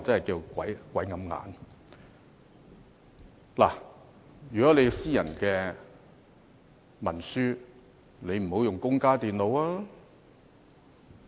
如果處理的是私人文書，便不應使用公家電腦。